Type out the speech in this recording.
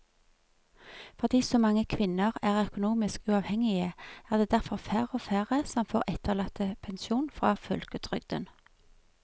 Fordi så mange kvinner er økonomisk uavhengige er det derfor færre og færre som får etterlattepensjon fra folketrygden.